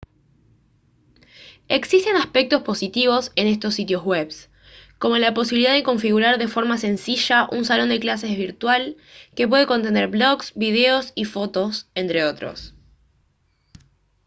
existen aspectos positivos en estos sitios web como la posibilidad de configurar de forma sencilla un salón de clases virtual que puede contener blogs videos y fotos entre otros